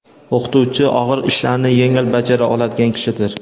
"O‘qituvchi og‘ir ishlarni yengil bajara oladigan kishidir".